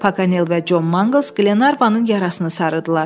Paqanel və Con Manquls Glenarvanın yarasını sarıdılar.